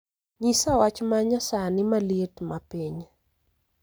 nyisa wach ma nyasani ma liet ma piny